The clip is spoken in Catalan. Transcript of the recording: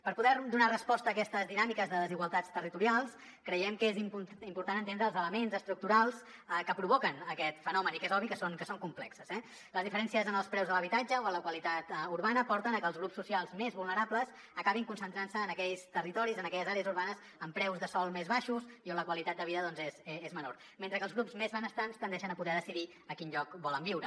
per poder donar resposta a aquestes dinàmiques de desigualtats territorials creiem que és important entendre els elements estructurals que provoquen aquest fenomen i que és obvi que són complexos eh les diferències en els preus de l’habitatge o en la qualitat urbana porten a que els grups socials més vulnerables acabin concentrant se en aquells territoris en aquelles àrees urbanes amb preus de sòl més baixos i on la qualitat de vida doncs és menor mentre que els grups més benestants tendeixen a poder decidir a quin lloc volen viure